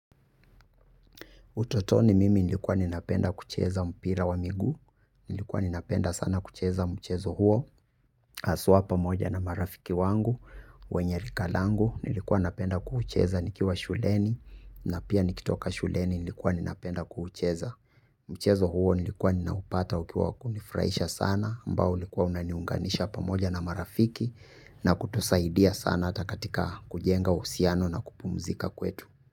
Utotoni mimi nilikuwa ninapenda kucheza mpira wa miguu, nilikuwa ninapenda sana kucheza mchezo huo, aswa pamoja na marafiki wangu, wenyeri kalangu, nilikuwa napenda kucheza nikiwa shuleni, na pia nikitoka shuleni nilikuwa ninapenda kucheza. Mchezo huo nilikuwa ninaupata ukiwa kunifraisha sana, ambao ulikuwa unaniunganisha pamoja na marafiki, na kutusaidia sana atakatika kujenga usiano na kupumzika kwetu.